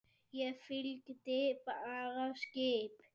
Ég fylgdi bara skip